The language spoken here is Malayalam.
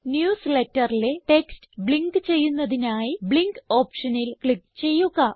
newsletterലെ ടെക്സ്റ്റ് ബ്ലിങ്ക് ചെയ്യുന്നതിനായി ബ്ലിങ്ക് ഓപ്ഷനിൽ ക്ലിക്ക് ചെയ്യുക